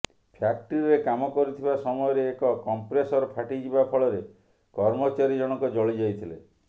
ଫ୍ୟକ୍ଟ୍ରିରେ କାମ କରୁଥିବା ସମୟରେ ଏକ କମ୍ପ୍ରେସର ଫାଟିଯିବା ଫଳରେ କର୍ମଚାରୀ ଜଣକ ଜଳିଯାଇଥିଲେ